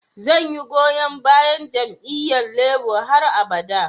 Zan yi goyon bayan jami'yyan Labour har abada.